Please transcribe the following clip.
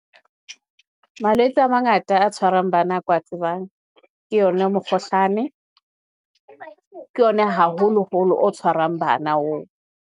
Malwetse a mangata a tshwarang bana ke wa tsebang, ke yona mokgohlane, ke yona haholoholo o tshwarang bana oo.